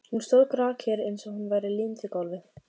Hún stóð grafkyrr eins og hún væri límd við gólfið.